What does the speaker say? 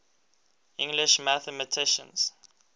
english mathematicians